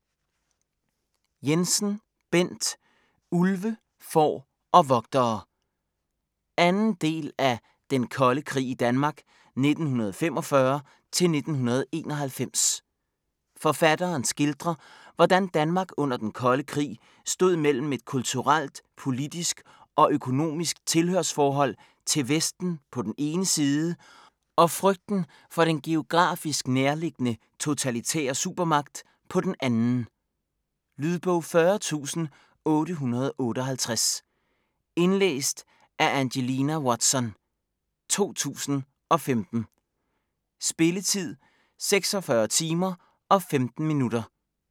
Jensen, Bent: Ulve, får og vogtere 2. del af Den Kolde Krig i Danmark 1945-1991. Forfatteren skildrer, hvordan Danmark under Den Kolde Krig stod mellem et kulturelt, politisk og økonomisk tilhørsforhold til Vesten på den ene side og frygten for den geografisk nærliggende totalitære supermagt på den anden. Lydbog 40858 Indlæst af Angelina Watson, 2015. Spilletid: 46 timer, 15 minutter.